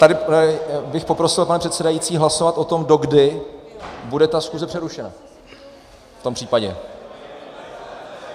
Tady bych poprosil, pane předsedající, hlasovat o tom, dokdy bude ta schůze přerušena v tom případě.